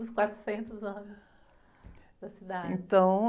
Os quatrocentos anos da cidade.ntão...